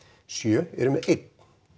sjö eru með einn